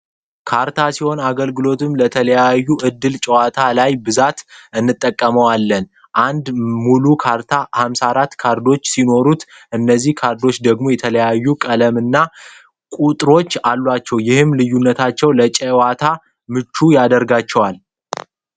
ካርታ ሲሆን አገልግሎቱም ለተለያዩ እድል ጨዋታዎች ላይ ብዛት እንጠቀመዋለን። አንድ ሙሉ ካርታ 54 ካርዶች ሲኖሩ እነዚህ ካርዶች ደግሞ የተለያዩ ቀለምና ቁጥሮች አሏቸው። ይህም ልዩነትታቸው ለጨዋታ ምቹ ያረጋቸዋል።